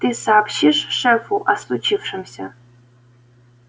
ты сообщишь шефу о случившемся